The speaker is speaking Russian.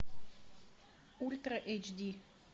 ультра эйч ди